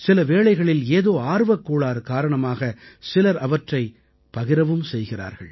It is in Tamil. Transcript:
சில வேளைகளில் ஏதோ ஆர்வக் கோளாறு காரணமாக சிலர் அவற்றை பகிரவும் செய்கிறார்கள்